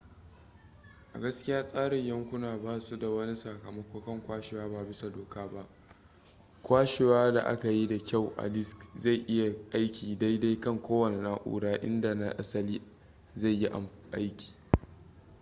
a gaskiya tsarin yankuna basu da wani sakamako kan kwashewa ba bisa doka ba kwashewa da aka yi da kyau a disk zai iya aiki daidai kan kowanne na'ura inda na asalin zai yi aiki